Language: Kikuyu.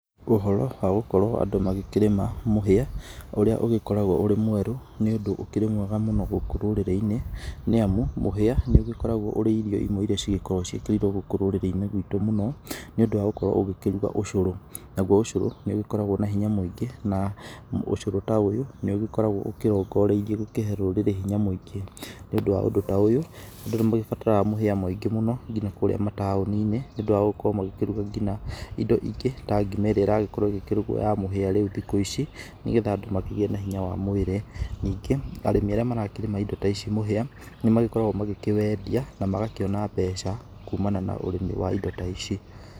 Ũhoro wa gũkorwo andũ magĩkĩrĩma mũhĩa ũrĩa ũgĩkoragwo ũrĩ mwerũ nĩ ũndũ ũkĩrĩ mwega mũno gũkũ rũrĩrĩ-inĩ nĩ amu mũhĩa nĩ ũgĩkoragwo ũrĩ irio imwe iria igĩkoragwo ciĩkĩrĩirwo gũkũ rũrĩrĩ-inĩ ruitũ mũno , nĩ ũndũ wa gũkorwo ũgĩkĩruga ũcũrũ. Naguo ũcũrũ nĩ ũgĩkoragwo na hinya mũingĩ na ũcũrũ ta ũyũ nĩ ũgĩkoragwo ũkĩrongoreirio gũkorwo gũkĩhe rũrĩrĩ hinya mũingĩ. Nĩ ũndũ wa ũndũ ta ũyũ andĩ nĩ magĩbataraga mũhĩa mũingĩ mũno ngina kũrĩa matũni-inĩ nĩ ũndũ wa gũgĩkorwo magĩkĩruga ngina indo ingĩ ta ngima ĩrĩa ĩragĩkorwo ya mũhĩa rĩu thikũ ici, nĩ getha andũ makĩgie na hinya wa mwĩri. Ningĩ arĩmi arĩa marakĩrĩma indo ta ici mũhĩa nĩ magĩkoragwo magĩkĩwendia na magakĩona mbeca kumana na ũrĩmi wa indo ta ici.